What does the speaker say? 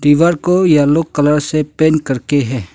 दीवार को yellow colour से पेंट करके है।